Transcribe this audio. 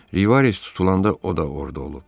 Rivares tutulanda o da orada olub.